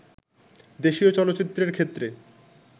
দেশীয় চলচ্চিত্রের ক্ষেত্রে